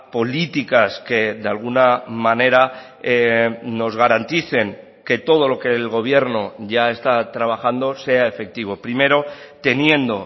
políticas que de alguna manera nos garanticen que todo lo que el gobierno ya está trabajando sea efectivo primero teniendo